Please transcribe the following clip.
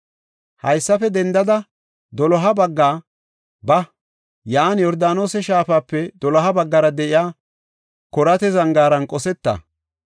“Haysafe dendada doloha bagga ba; yan Yordaanose shaafape doloha baggara de7iya Koraata zangaaran qosetta.